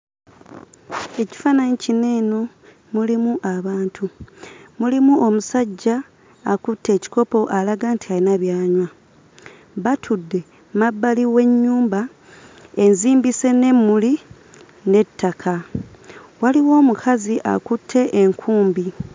Ekifaananyi kino eno mulimu abantu. Mulimu omusajja akutte ekikopo alaga nti alina by'anywa. Batudde mmabbali w'ennyumba enzimbise n'emmuli n'ettaka. Waliwo omukazi akutte enkumbi.